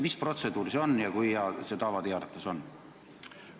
Mis protseduur see on ja kui hea see tava teie arvates on?